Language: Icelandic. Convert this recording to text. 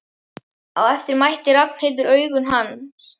Á eftir mætti Ragnhildur augum hans.